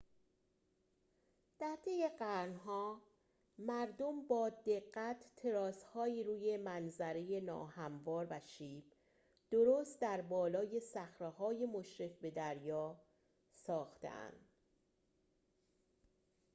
در طی قرن‌ها مردم با دقت تراس‌هایی روی منظره ناهموار و شیب درست در بالای صخره‌های مشرف به دریا ساخته‌اند